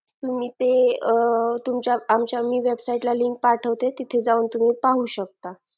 तुम्ही ते आमच्या website ला link पाठवते तिथे जाऊन तुम्ही पाहू शकता